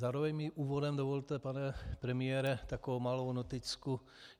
Zároveň mi úvodem dovolte, pane premiére, takovou malou noticku.